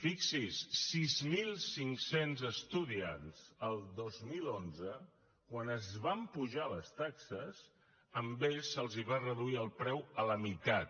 fixi’s sis mil cinc cents estudiants el dos mil onze quan es van apujar les taxes a ells se’ls va reduir el preu a la meitat